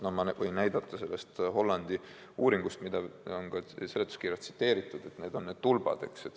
Ma võin näidata sellest Hollandi uuringust, mida on ka seletuskirjas tsiteeritud, need on need tulbad, eks ju.